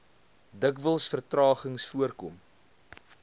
dikwels vertragings voorkom